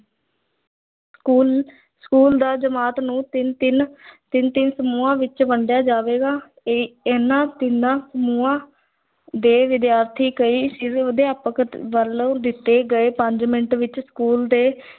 school school ਦਾ ਜਮਾਤ ਨੂੰ ਤਿੰਨ-ਤਿੰਨ ਤਿੰਨ-ਤਿੰਨ ਸਮੂਹਾਂ ਵਿੱਚ ਵੰਡਿਆ ਜਾਵੇਗਾ, ਇਹ ਇਹਨਾਂ ਤਿੰਨਾਂ ਸਮੂਹਾਂ ਦੇ ਵਿਦਿਆਰਥੀ ਕਈ ਅਧਿਆਪਕ ਵੱਲੋਂ ਦਿੱਤੇ ਗਏ ਪੰਜ ਮਿੰਟਾਂ ਵਿੱਚ school ਦੇ